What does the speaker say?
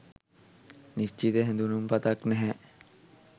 නිස්චිත "හැඳුනුම් පතක්" නැහැ.